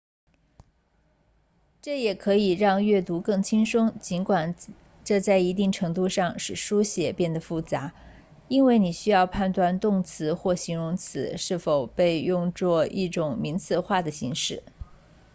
这也可以让阅读更轻松尽管这在一定程度上使书写变得复杂因为你需要判断动词或形容词是否被用作一种名词化的形式